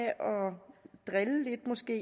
måske